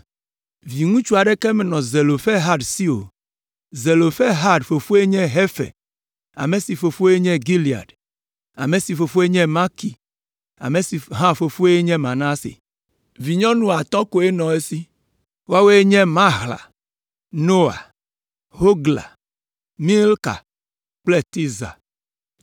Viŋutsu aɖeke menɔ Zelofehad si o, Zelofehad fofoe nye Hefer, ame si fofoe nye Gilead, ame si fofoe nye Makir, ame si hã fofoe nye Manase. Vinyɔnu atɔ̃ koe nɔ esi, woawoe nye: Mahla, Noa, Hogla, Milka kple Tirza.